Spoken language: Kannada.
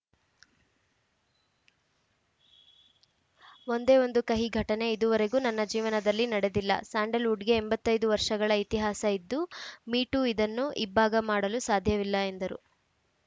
ಒಂದೇ ಒಂದು ಕಹಿ ಘಟನೆ ಇದುವರೆಗೂ ನನ್ನ ಜೀವನದಲ್ಲಿ ನಡೆದಿಲ್ಲ ಸ್ಯಾಂಡಲ್‌ವುಡ್‌ಗೆ ಎಂಬತ್ತ್ ಐದು ವರ್ಷಗಳ ಇತಿಹಾಸ ಇದ್ದು ಮೀಟೂ ಇದನ್ನು ಇಬ್ಭಾಗ ಮಾಡಲು ಸಾಧ್ಯವಿಲ್ಲ ಎಂದರು